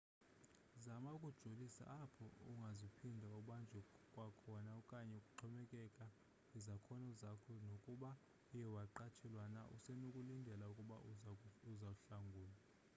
zama ukujolisa apho ungazuphinde ubanjwe kwakhona okanye kuxhomekeke kwizakhono zakho nokuba uye waqatshelwa na usenokulindela ukuba uzohlangulwa